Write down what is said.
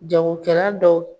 Jago kɛra dɔw